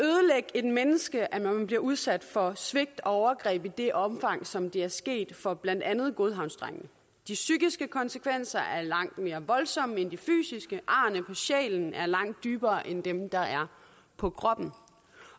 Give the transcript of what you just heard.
et menneske at man bliver udsat for svigt og overgreb i det omfang som det er sket for blandt andet godhavnsdrengene de psykiske konsekvenser er langt mere voldsomme end de fysiske arrene på sjælen er langt dybere end dem der er på kroppen